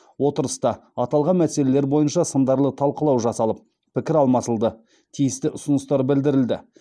отырыста аталған мәселелер бойынша сындарлы талқылау жасалып пікір алмасылды тиісті ұсыныстар білдірілді